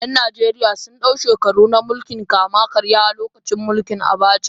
’Yan Najeriya sun dau shekaru na mulkin kama-karya a lokacin mulkin Abacha.